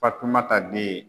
Fatumata den ye.